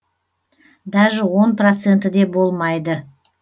даже он проценті де болмайды